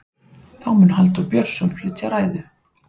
þá mun halldór björnsson flytja ræðu